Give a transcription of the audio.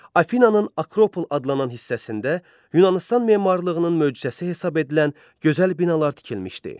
Afinananın Akropol adlanan hissəsində Yunanistan memarlığının möcüzəsi hesab edilən gözəl binalar tikilmişdi.